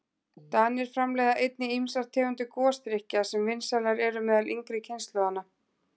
Danir framleiða einnig ýmsar tegundir gosdrykkja sem vinsælar eru meðal yngri kynslóðarinnar.